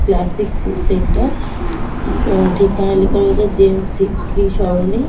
Classic food centre. Um আঁ ঠিকানা লেখা রয়েছে জেমস সিক্স .ই সরণি।